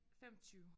25